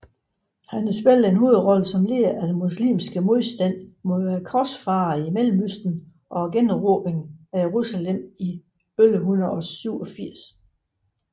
Han spillede en hovedrolle som leder af den muslimske modstand mod korsfarerne i Mellemøsten og generobrede Jerusalem i 1187